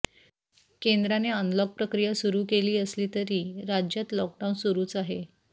केंद्राने अनलॉक प्रक्रिया सुरू केली असली तर राज्यात लॉकडाऊन सुरूच आहे